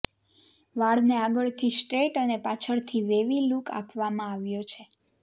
વાળને આગળથી સ્ટ્રેઈટ અને પાછળથી વેવી લુક આપવામાં આવ્યો છે